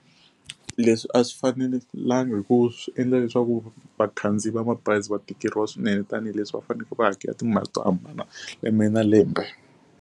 Leswi a swi fanelanga hikuva swi endla leswaku vakhandziyi va mabazi va tikeriwa swinene tanihileswi va fanekele va hakela timali to hambana lembe na lembe.